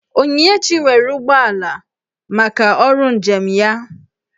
Onyinyechi nwere ụgbọala maka ọrụ njem ya